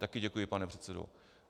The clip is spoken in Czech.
Také děkuji, pane předsedo.